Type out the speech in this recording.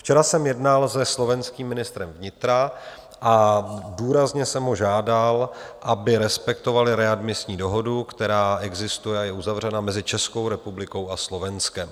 Včera jsem jednal se slovenským ministrem vnitra a důrazně jsem ho žádal, aby respektovali readmisní dohodu, která existuje a je uzavřena mezi Českou republikou a Slovenskem.